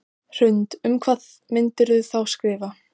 Hrund: Um hvað myndirðu þá skrifa?